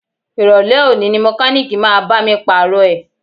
Ìrọ̀lẹ́ òní ni mọkálíìkì máa bá mi Pààrọ̀ ẹ̀